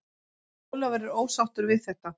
Ólafur er ósáttur við þetta.